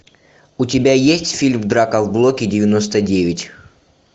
у тебя есть фильм драка в блоке девяносто девять